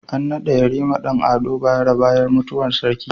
An nada yarima Dan ado bayero bayan mutuwar sarki